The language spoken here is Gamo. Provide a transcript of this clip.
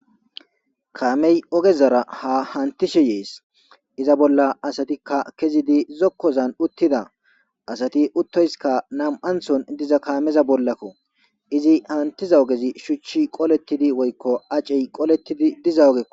Kaamey ogezara ha hantishe yees iza bolla asatikka kezidi zokkozan uttida asati uttoyskka nam'anthon diza kaameza bollakko izi hantiza ogezi shuchchi qolettidi woykko acey qolettidi diza ogekko.